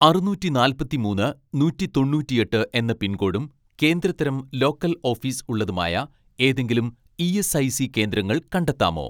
അറുന്നൂറ്റി നാല്പത്തിമൂന്ന് നൂറ്റി തൊണ്ണൂറ്റിയെട്ട് എന്ന പിൻകോഡും കേന്ദ്ര തരം ലോക്കൽ ഓഫീസ് ഉള്ളതുമായ ഏതെങ്കിലും ഇ.എസ്.ഐ.സി കേന്ദ്രങ്ങൾ കണ്ടെത്താമോ